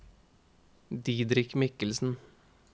Didrik Mikkelsen